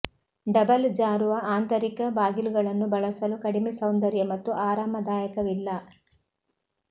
double ಜಾರುವ ಆಂತರಿಕ ಬಾಗಿಲುಗಳನ್ನು ಬಳಸಲು ಕಡಿಮೆ ಸೌಂದರ್ಯ ಮತ್ತು ಆರಾಮದಾಯಕವಿಲ್ಲ